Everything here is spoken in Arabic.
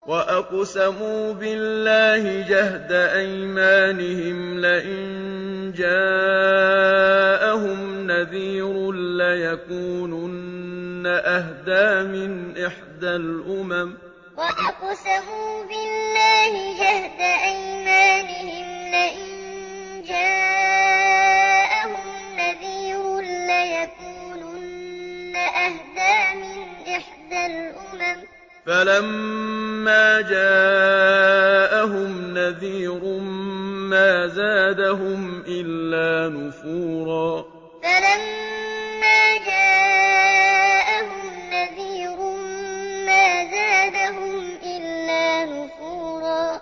وَأَقْسَمُوا بِاللَّهِ جَهْدَ أَيْمَانِهِمْ لَئِن جَاءَهُمْ نَذِيرٌ لَّيَكُونُنَّ أَهْدَىٰ مِنْ إِحْدَى الْأُمَمِ ۖ فَلَمَّا جَاءَهُمْ نَذِيرٌ مَّا زَادَهُمْ إِلَّا نُفُورًا وَأَقْسَمُوا بِاللَّهِ جَهْدَ أَيْمَانِهِمْ لَئِن جَاءَهُمْ نَذِيرٌ لَّيَكُونُنَّ أَهْدَىٰ مِنْ إِحْدَى الْأُمَمِ ۖ فَلَمَّا جَاءَهُمْ نَذِيرٌ مَّا زَادَهُمْ إِلَّا نُفُورًا